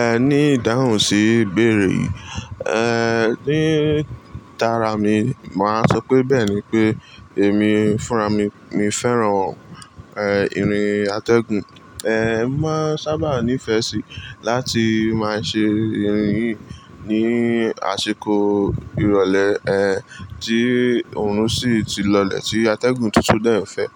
Ẹ ní ìdáhùn sí ìbéèrè yìí. Ẹ ní tara mi, màá sọ pé bẹ́ẹ̀ni pé èmi fúnra mi, mi fẹ́ràn eh irun atẹ́gùn. Eh, máa sábà nífẹ̀ẹ́ sí láti máa ṣe irun yìí ní àsìkò ìrọ̀lẹ́. Eh, tí òórùn sì ti lọlẹ̀ tí atẹ́gùn tuntun dẹ̀ n fẹ́,